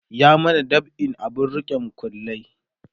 ya mana dab'in abun rike makullai